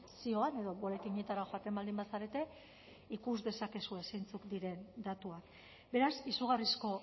zioan edo boletinetara joaten baldin bazarete ikus dezakezue zeintzuk diren datuak beraz izugarrizko